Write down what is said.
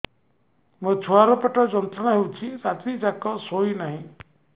ମୋ ଛୁଆର ପେଟ ଯନ୍ତ୍ରଣା ହେଉଛି ରାତି ଯାକ ଶୋଇନାହିଁ